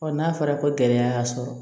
n'a fɔra ko gɛlɛya y'a sɔrɔ